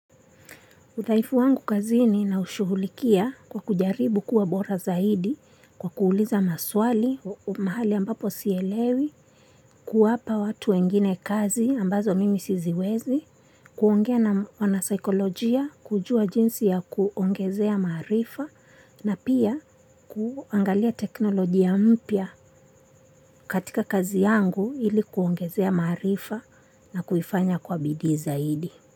Uthaifu wangu kazi ni na ushughulikia kwa kujaribu kuwa bora zaidi kwa kuuliza maswali, mahali ambapo sielewi, kuwapa watu wengine kazi ambazo mimi siziwezi, kuongea na wana saikolojia, kujua jinsi ya kuongezea maarifa na pia kuangalia teknolojia mpya katika kazi yangu ili kuongezea maarifa na kuifanya kwa bidii zaidi.